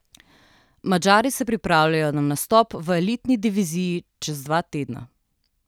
Madžari se pripravljajo na nastop v elitni diviziji čez dva tedna.